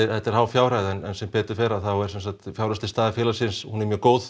þetta er há fjárhæð en sem betur fer er fjárhagsleg staða félagsins mjög góð